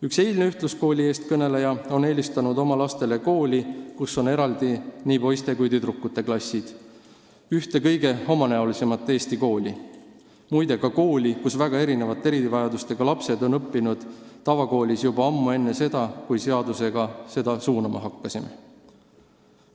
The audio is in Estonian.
Üks eilne ühtluskooli eestkõneleja on eelistanud oma lastele kooli, kus on eraldi poiste ja tüdrukute klassid, ühte Eesti kõige omanäolisemat kooli, muide, ka kooli, kus väga mitmesuguste erivajadustega lapsed õppisid juba ammu enne seda, kui me seaduse abil neid lapsi tavakooli suunama hakkasime.